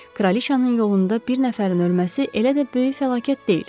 Kraliçanın yolunda bir nəfərin ölməsi elə də böyük fəlakət deyil.